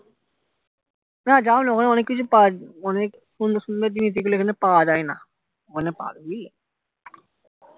না যাও যাও ওখানে অনেক কিছু পাওয়া যাবে অনেক সুন্দর সুন্দর জিনিস যেগুলো এখানে পাওয়া যায় না